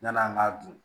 Yann'an k'a dun